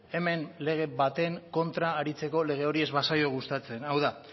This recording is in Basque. hemen lege baten kontra aritzeko lege hori ez bazaio gustatzen hau da